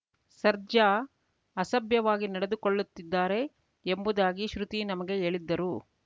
ಸರ್ಜಾ ಅಸಭ್ಯವಾಗಿ ನಡೆದುಕೊಳ್ಳುತ್ತಿದ್ದಾರೆ ಎಂಬುದಾಗಿ ಶ್ರುತಿ ನಮಗೆ ಹೇಳಿದ್ದರು